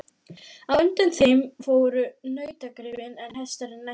Á undan þeim fóru nautgripirnir en hestarnir næstir.